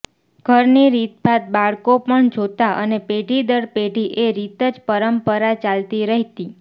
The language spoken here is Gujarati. ઘરની રીતભાત બાળકો પણ જોતાં અને પેઢી દર પેઢી એ રીતે જ પરંપરા ચાલતી રહેતી